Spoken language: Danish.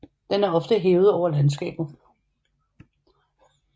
Den er ofte hævet over landskabet